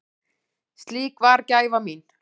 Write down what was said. Slík var gæfa mín.